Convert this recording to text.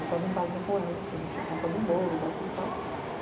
Eu tava em casa com ela, a gente tinha contado um bolo, batido palma.